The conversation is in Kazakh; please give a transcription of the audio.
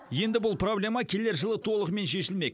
енді бұл проблема келер жылы толығымен шешілмек